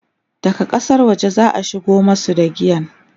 daga ƙasar waje zaa shigo masu da giyan